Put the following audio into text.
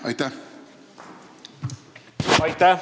Aitäh!